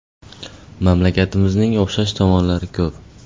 Mamlakatlarimizning o‘xshash tomonlari ko‘p.